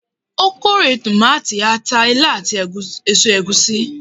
ó kórè tomati, ata, ilá, ati eso egusi.